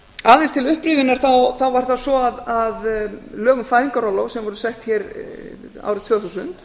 aðeins til upprifjunar þá var það svo að lög um fæðingarorlof sem voru sett hér árið tvö þúsund